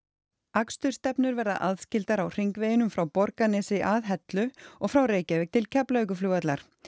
akstursstefnur verða aðskildar á hringveginum frá Borgarnesi að Hellu og frá Reykjavík til Keflavíkurflugvallar